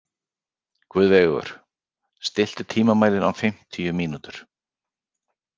Guðveigur, stilltu tímamælinn á fimmtíu mínútur.